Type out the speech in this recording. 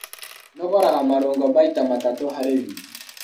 Nogoraga marũngo maita matatũ harĩ wiki.